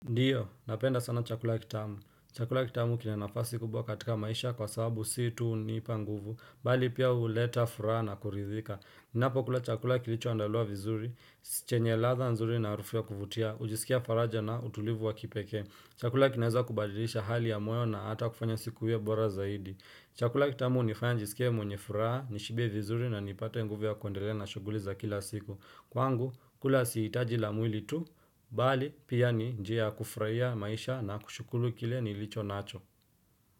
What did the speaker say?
Ndiyo, napenda sana chakula kitamu. Chakula kitamu kina nafasi kubwa katika maisha kwa sababu sii tu hunipa nguvu. Bali pia huleta furaha na kuridhika. Ninapo kula chakula kilicho andaliwa vizuri, chenye ladha nzuri na arufu ya kuvutia, ujisikia faraja na utulivu wa kipekee. Chakula kinaweza kubadilisha hali ya moyo na ata kufanya siku hiyo bora zaidi. Chakula kitamu hunifanya nijisikie mwenye furaha, nishibie vizuri na nipate nguvu ya kuendelea na shughuli za kila siku. Kwangu, kula si hitaji la mwili tu, bali pia ni njia kufurahia maisha na kushukuru kile nilicho nacho.